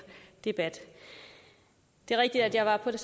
debat det er rigtigt at jeg var på